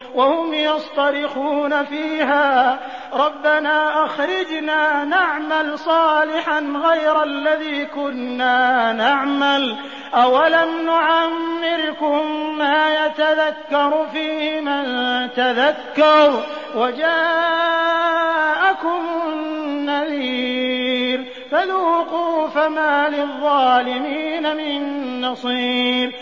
وَهُمْ يَصْطَرِخُونَ فِيهَا رَبَّنَا أَخْرِجْنَا نَعْمَلْ صَالِحًا غَيْرَ الَّذِي كُنَّا نَعْمَلُ ۚ أَوَلَمْ نُعَمِّرْكُم مَّا يَتَذَكَّرُ فِيهِ مَن تَذَكَّرَ وَجَاءَكُمُ النَّذِيرُ ۖ فَذُوقُوا فَمَا لِلظَّالِمِينَ مِن نَّصِيرٍ